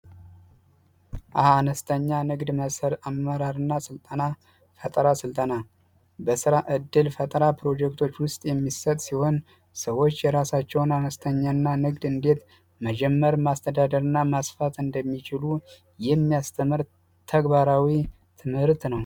አነስተኛ ንግድ መሰር አመራርእና ሥልጠና ፈጠራ ሥልጠና በሥራ እድል ፈጠራ ፕሮጀክቶች ውስጥ የሚሰጥ ሲሆን ሰዎች የራሳቸውን አነስተኛና ንግድ እንዴት መጀመር ማስተዳደር ና ማስፋት እንደሚችሉ ይህሚያስትምህርት ተግባራዊ ትምህርት ነው